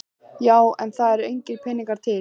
Já en það eru engir peningar til.